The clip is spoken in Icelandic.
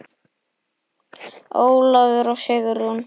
Ólafur og Sigrún.